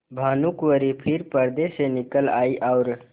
भानुकुँवरि फिर पर्दे से निकल आयी और